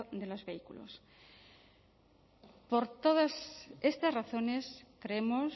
de los vehículos por todas estas razones creemos